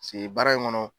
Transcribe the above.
Se baara in kɔnɔ